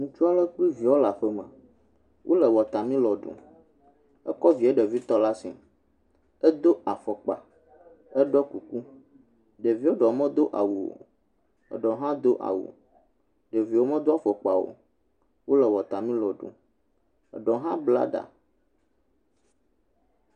ŋutsu aɖe kple viawo le aƒe me. Wole wɔtamelɔn ɖum, ekɔ vie ɖevitɔ ɖe asi. Edo afɔkpa, eɖɔ kuku, ɖevia ɖewo medo awu o. eɖewo hã do awu eɖewo me ɖo afɔkpa o. Wole wɔtamelɔn ɖum, eɖewo hã bla ɖa.